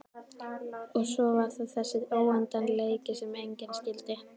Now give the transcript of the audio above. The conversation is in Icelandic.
Og svo var það þessi óendanleiki sem enginn skildi.